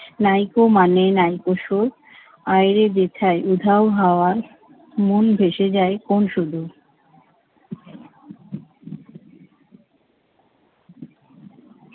নাইকো মানে নাইকো সুর। আয়রে যেথায় উধাও হাওয়ায় মন ভেসে যায় কোন্‌ সুদূর।